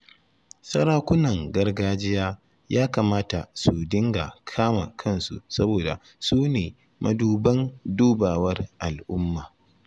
Sarakunan gargajiya ya kamata su dinga kama kansu saboda su ne maduban dubawar al'umma